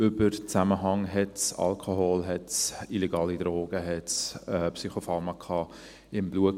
Über Zusammenhänge: Hatte es Alkohol, hatte es illegale Drogen, hatte es Psychopharmaka im Blut?